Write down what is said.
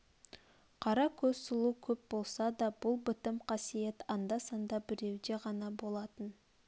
қара көз сұлу көп болса да бұл бітім қасиет анда-санда біреуде ғана болатын